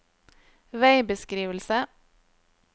veibeskrivelse